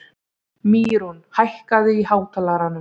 Mýrún, hækkaðu í hátalaranum.